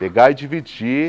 Pegar e dividir.